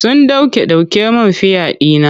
Sun ɗauke ɗauke min fiya ɗina.